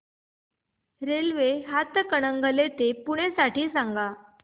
railway Hatkanangale ते पुणे साठी सांगा